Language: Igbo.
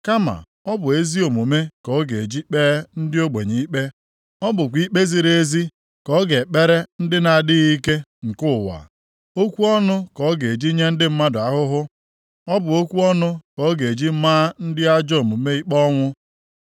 Kama ọ bụ ezi omume ka ọ ga-eji kpee ndị ogbenye ikpe; ọ bụkwa ikpe ziri ezi ka ọ ga-ekpere ndị na-adịghị ike nke ụwa. Okwu ọnụ ka ọ ga-eji nye ndị mmadụ ahụhụ, ọ bụ okwu ọnụ ka ọ ga-eji maa ndị ajọ omume ikpe ọnwụ.